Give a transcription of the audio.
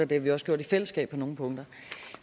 det har vi også gjort i fællesskab på nogle punkter